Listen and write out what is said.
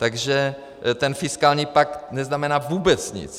Takže ten fiskální pakt neznamená vůbec nic.